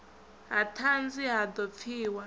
ha ṱhanzi ha ḓo pfiwa